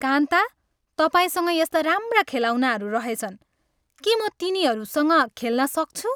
कान्ता, तपाईँसँग यस्ता राम्रा खेलौनाहरू रहेछन्। के म तिनीहरूसँग खेल्न सक्छु?